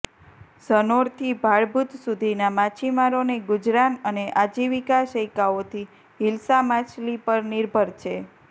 ઝનોર થી ભાડભૂત સુધીના માછીમારોને ગુજરાન અને આજીવીકા શૈકાઓથી હીલ્સા માછલી પર નિર્ભર છે